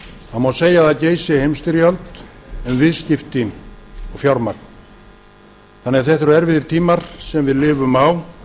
það má segja að það geysi heimsstyrjöld um viðskipti og fjármagn þannig að þetta eru erfiðir tímar sem við lifum á